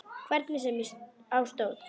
Hvernig sem á stóð.